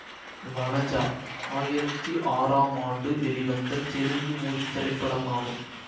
வனஜா ஆயிரத்தி ஆறாம் ஆண்டு வெளிவந்த தெலுங்கு மொழி திரைப்படமாகும்